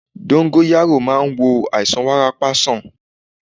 Dóngóyárò máa ń wo àìsàn wárápá sàn